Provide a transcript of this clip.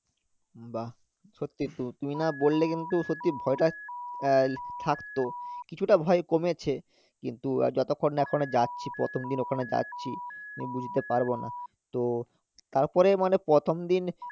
বাহ্ সত্যিতো তুমি না বললে কিন্তু সত্যি ভয়টা আহ থাকতো কিছুটা ভয় কমেছে কিন্তু আর যতক্ষণ না এখনো যাচ্ছি প্রথমদিন ওখানে যাচ্ছি, আমি বুঝতে পারবো না তো তারপরে মানে প্রথমদিন